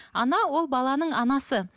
ана ол баланың анасы